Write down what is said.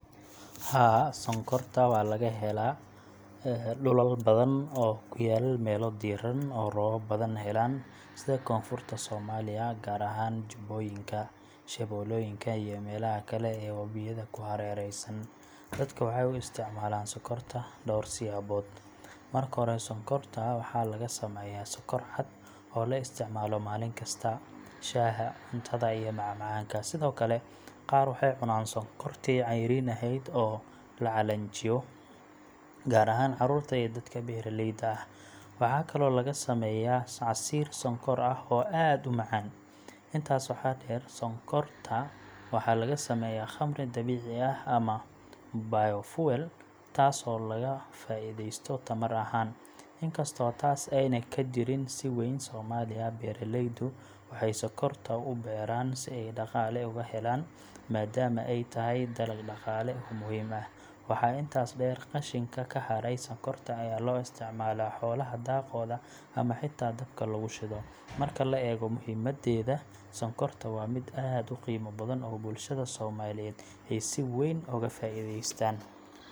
Haa, sonkorta waxaa laga helaa dhulal badan oo ku yaal meelo diiran oo roobab badan helaan sida Koonfurta Soomaaliya, gaar ahaan Jubbooyinka, Shabeellooyinka iyo meelaha kale ee webiyada ku hareeraysan. Dadka waxay u isticmaalaan sonkorta dhowr siyaabood. Marka hore, sonkorta waxaa laga sameeyaa sokor cad oo la isticmaalo maalin kasta: shaaha, cuntada, iyo macmacaanka. Sidoo kale, qaar waxay cunaaan sonkortii cayriin ahayd oo la calaanjiyo, gaar ahaan carruurta iyo dadka beeraleyda ah. Waxaa kaloo laga sameeyaa casiir sonkor ah oo aad u macaan. Intaas waxaa dheer, sonkorta waxaa laga sameeyaa khamri dabiici ah ama biofuel, taasoo laga faa'iideysto tamar ahaan, inkastoo taas aanay ka jirin si weyn Soomaaliya. Beeraleydu waxay sonkorta u beeran si ay dhaqaale uga helaan, maadaama ay tahay dalag dhaqaale oo muhiim ah. Waxaa intaas dheer, qashinka ka haray sonkorta ayaa loo isticmaalaa xoolaha daaqooda ama xitaa dabka lagu shido. Marka la eego muhiimaddeeda, sonkorta waa mid aad u qiimo badan oo bulshada Soomaaliyeed ay si weyn uga faa’iideystaan.